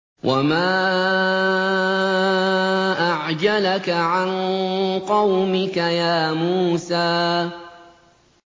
۞ وَمَا أَعْجَلَكَ عَن قَوْمِكَ يَا مُوسَىٰ